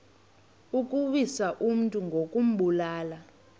ukuwisa umntu ngokumbulala